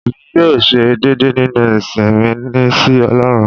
Èmi yóò ṣe déédé nínú ìsìn mi sí ọlọ́run.